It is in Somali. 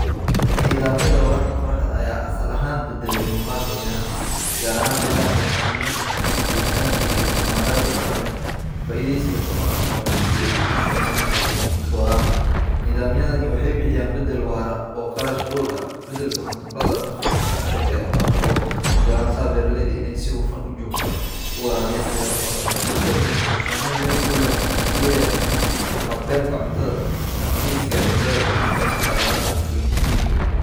Nidhamyadha wararka qorohdaa aya asal ahaan badaale muqaalka beeraha gaar aahaan melaha ee hadidaantahay heltaanka iyo tamaraaha daqaamed ka faaiideysiga tamaarka qorahda sii ey ushaaqeyna bamoyinka warabka nidhamyaadan waxey bihiyaan badaal waro oo qarash oola badalka maturaada nafta kushaqeya taas oo ogo lashaha beeraleyda iney si waafan ujoogta uwarawiyan beerahooda isbaadalkan waxu sameyn weyn kuledaha haqabelka cuntaada adkeysiiga cuntada iyo hormarista bulshoyinka miiga.